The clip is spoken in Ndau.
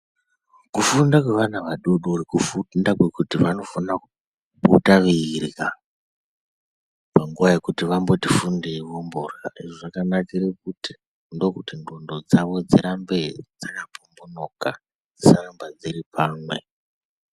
Kufunda kweana adodori kufunda kwekuti vanofana kupota veirya oanguva yekuti vamboto fundei vorya, izvi zvakanakire kuti ndokuti ndxondo dzawo dzirambe dzakapombonoka dzisaramba dziri pamwe.